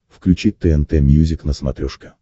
включи тнт мьюзик на смотрешке